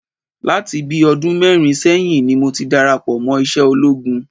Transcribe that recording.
Láti bíi ọdún mẹ́rin sẹ́yìn ni mo ti darapọ̀ mọ́ iṣẹ́ ológun